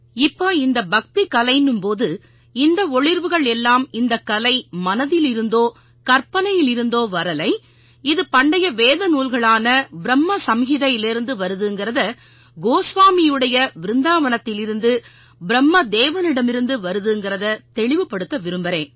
இப்ப இந்த பக்திக்கலைன்னும் போது இந்த ஒளிர்வுகள் எல்லாம் இந்தக் கலை மனதிலிருந்தோ கற்பனையிலிருந்தோ வரலை இது பண்டைய வேதநூல்களான ப்ரும்மச்ம்ஹிதைலேர்ந்து வருதுங்கறதை கோஸ்வாமியுடைய விருந்தாவனத்திலிருந்து பிரும்மதேவனிடமிருந்து வருதுங்கறதை தெளிவுபடுத்த விரும்பறேன்